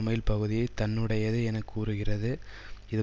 mile பகுதியை தன்னுடையது என கூறுகிறது இது